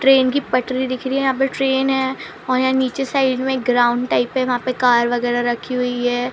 Train की पटरी दिख रही है यहाँ पे ट्रैन है और यहाँ नीचे साइड में ग्राउंड टाइप है वहाँ पे कार वगेरा रखी हुई है।